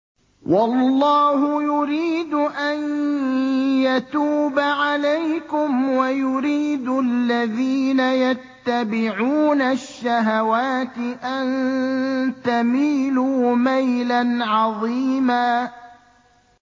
وَاللَّهُ يُرِيدُ أَن يَتُوبَ عَلَيْكُمْ وَيُرِيدُ الَّذِينَ يَتَّبِعُونَ الشَّهَوَاتِ أَن تَمِيلُوا مَيْلًا عَظِيمًا